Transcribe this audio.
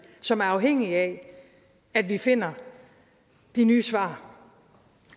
som er afhængig af at vi finder de nye svar